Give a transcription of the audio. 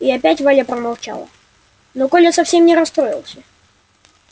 и опять валя промолчала но коля совсем не расстроился